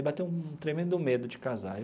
E bateu um tremendo medo de casar.